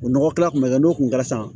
O nɔgɔ kilan kun bɛ kɛ n'o kun kɛra sisan